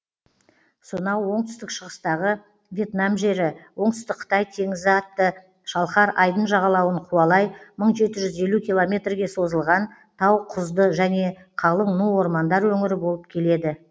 сонау оңтүстік шығыстағы вьетнам жері оңтүстік қытай теңізі атты шалқар айдын жағалауын қуалай мың жеті жүз елу километрге созылған тауқұзды және қалың ну ормандар өңірі болып келеді